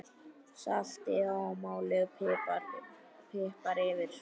Saltið og malið pipar yfir.